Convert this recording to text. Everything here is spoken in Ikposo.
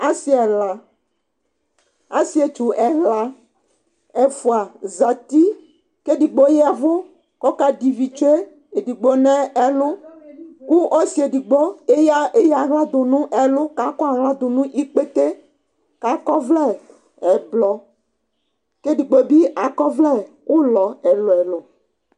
ase ɛla asietsu ɛla ɛfua zati k'edigbo yavu k'ɔka dɛ ivi tsue edigbo n'ɛlu kò ɔse edigbo eya ala do no ɛlu k'akɔ ala do n'ikpete k'akɔ ɔvlɛ ɛblɔ k'edigbo bi akɔ ɔvlɛ ulɔ ɛlu ɛlu